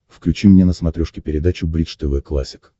включи мне на смотрешке передачу бридж тв классик